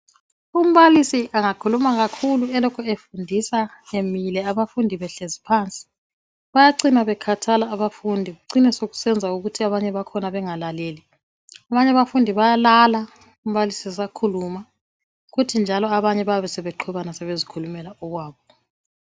Umbalisi angakhuluma kakhulu elokhe ufundisa emile abafundi behlezi phansi bayacina bekhathala abafundi, kucine sokusenza ukuthi abanye bakhona bengalaleli. Abanye abafundi bayalala umbalisi esakhuluma, kuthi njalo abanye bayabe sebeqhwebana sebezikhulumela okwabo.